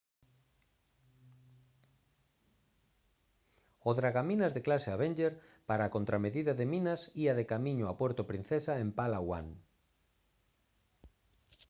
o dragaminas de clase avenger para a contramedida de minas ía de camiño a puerto princesa en palawan